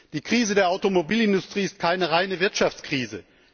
Die Krise der Automobilindustrie ist keine reine Wirtschaftskrise.